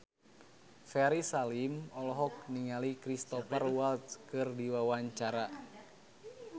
Ferry Salim olohok ningali Cristhoper Waltz keur diwawancara